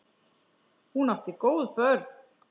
Hún átti góð börn.